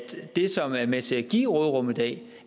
det som er med til at give råderummet i dag